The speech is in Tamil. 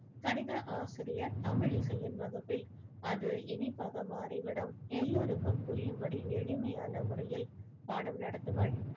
கணித ஆசிரியர் தமிழிசையின் வகுப்பில் அது இனிப்பாக மாறிவிடும் எல்லோருக்கும் புரியும்படி எளிமையான முறையில் பாடம் நடத்துவாள்.